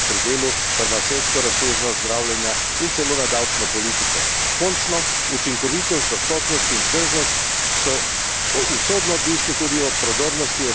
Končno, učinkovitost, dostopnost in vzdržnost so usodno odvisni tudi od prodornosti evropske znanosti, raziskav in tehnološkega razvoja, kar moramo podpirati.